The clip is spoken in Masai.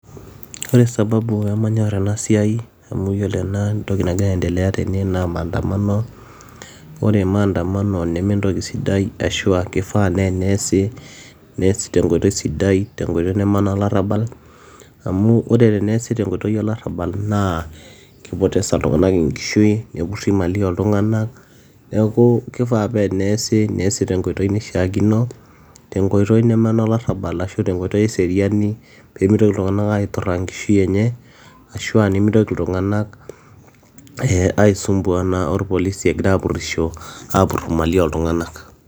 Ore sababu peemanyor ena siai amu iyiolo ena entoki nagira aendelea tene naa maandamano ore maandamano nementoki sidai ashuua keifaa naa teneesi neasi tenkoitoi sidai tenkoitoi neme onolarabal amu ore teneesi tenkoitoi olarabal naa keipoteza iltung'anak enkishui nepuri imali ooltung'anak neeku keifaa paa teneesi neesi tenkoitoi naishiakino tenkoitoi neme onolarabal ashua tenkoitoi eseriani peemitoki iltung'anak aituraa enkishui enye ashua nimitoki iltung'anak aisumbuana orpolisi egiraa aapurisho aapur imali ooltung'anak.